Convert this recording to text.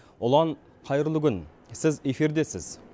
ұлан қайырлы күн сіз эфирдесіз